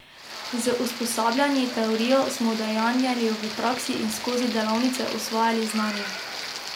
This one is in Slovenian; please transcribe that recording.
Z usposabljanji, teorijo smo udejanjali v praksi in skozi delavnice usvajali znanje.